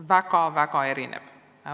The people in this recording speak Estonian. Väga-väga erinevalt.